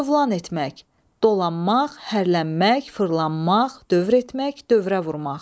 Cövlan etmək, dolanmaq, hərlənmək, fırlanmaq, dövr etmək, dövrə vurmaq.